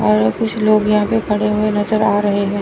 और कुछ लोग यहां पे खड़े हुए नजर आ रहे हैं।